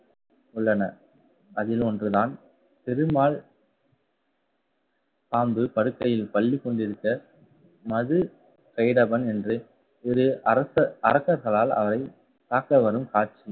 உள்ளன. அதில் ஒன்றுதான் பெருமாள் பாம்பு படுக்கையில் பள்ளி கொண்டிருக்க மது, கைடவன் என்று இரு அரச~ அரக்கர்களால் அவரை தாக்க வரும் காட்சி